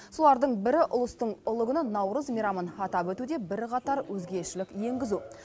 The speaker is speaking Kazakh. солардың бірі ұлыстың ұлы күні наурыз мейрамын атап өтуде бірқатар өзгешелік енгізу